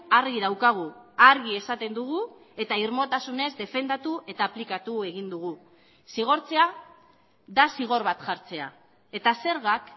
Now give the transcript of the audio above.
argi daukagu argi esaten dugu eta irmotasunez defendatu eta aplikatu egin dugu zigortzea da zigor bat jartzea eta zergak